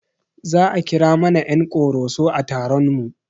Za a kira mana ƴan ƙoroso a taron mu